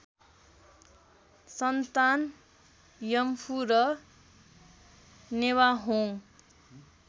सन्तान यम्फु र नेवाहोङ